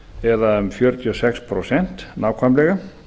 eða um fjörutíu og sex prósent nákvæmlega